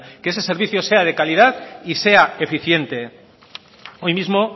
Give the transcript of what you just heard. que ese servicio sea de calidad y sea eficiente hoy mismo